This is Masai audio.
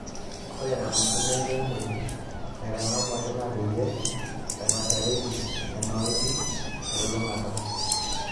Ore ina mufumo enkiremore naatang'amuaki naa peyie epashareki nena oitoi telulung; ata.